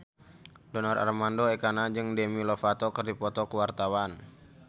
Donar Armando Ekana jeung Demi Lovato keur dipoto ku wartawan